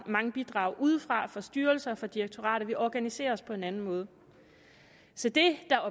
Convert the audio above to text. mange bidrag udefra fra styrelser fra direktorater vi organiserer os på en anden måde så det der